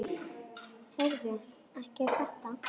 Heyrðu. ekki er þetta?